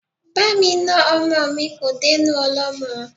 Bá mi na ọmọ mi kò dénú ọlọ́mọ́.